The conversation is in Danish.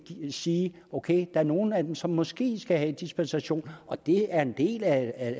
sige at ok er nogle af dem som måske skal have dispensation og det er jo en del af